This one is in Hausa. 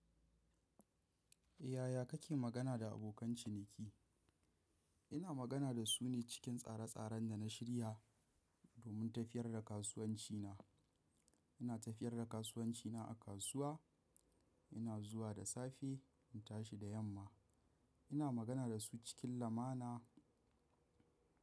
Yaya kake magana da abokan ciniki? Ina magana da su ne cikin tsare tsaren da na shirya domin tafiyar da kasuwanci na. Ina tafiyar da kasuwanci na a kasuwa, ina zuwa da safe in tashi da yamma. Ina magana da su cikin lamana.